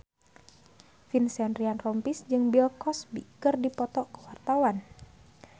Vincent Ryan Rompies jeung Bill Cosby keur dipoto ku wartawan